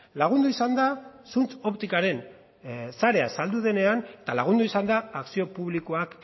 lagundu izan da zuntz optikaren sarea saldu denean eta lagundu izan da akzio publikoak